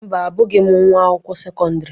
Mba, Abụghị m nwa akwụkwọ sekọndrị.